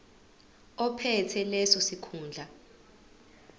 ophethe leso sikhundla